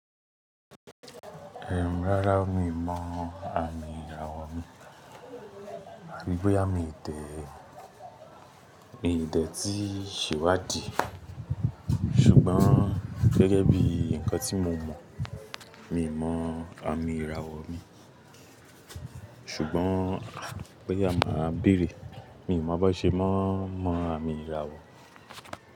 Rárá o mi ò mọ àmì ìràwọ̀ mi. Boya mi o dẹ mìo dẹ ti, ṣèwádìí. Ṣùgbọ́n gẹ́gẹ́ bí nǹkan tí mo mọ̀, mi ò mọ àmì ìràwọ̀ mi. Ṣùgbọ́n boya máa béèrè, mi ò mọ bó ṣe mọ n mọ àmì ìràwọ̀.